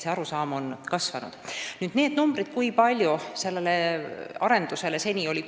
Nüüd nendest rahanumbritest, kui palju on sellele arendusele seni kulunud.